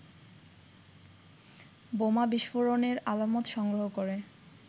বোমা বিস্ফোরণের আলামত সংগ্রহ করে